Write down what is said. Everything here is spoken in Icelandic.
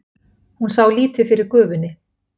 Hún sá lítið fyrir gufunni.